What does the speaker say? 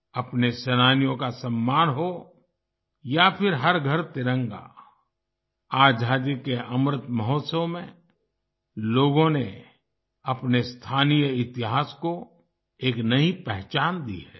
अपने सेनानियों का सम्मान हो या फिर हर घर तिरंगा आजादी के अमृत महोत्सव में लोगों ने अपने स्थानीय इतिहास को एक नई पहचान दी है